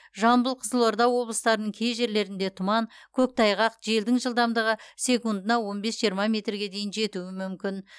жамбыл қызылорда облыстарының кей жерлерінде тұман көктайғақ желдің жылдамдығы секундына он бес жиырма метрге дейін жетуі мүмкін